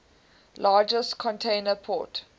largest container port